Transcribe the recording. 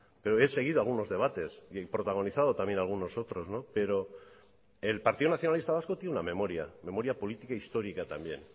pero he seguido algunos debates y protagonizado también algunos otros pero el partido nacionalista vasco tiene una memoria memoria política histórica también